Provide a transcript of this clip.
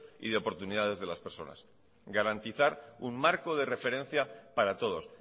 y de oportunidades de las personas garantizar un marco de referencia para todos